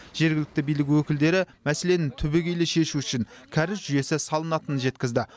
жергілікті билік өкілдері мәселені түбегейлі шешу үшін кәріз жүйесі салынатынын жеткізді